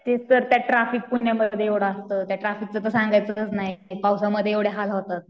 तेच तर त्या ट्राफिक पुण्यामध्ये एवढा असतो. त्या ट्रॅफिकचं तर सांगायचंच नाही. पावसामध्ये एवढे हाल होतात.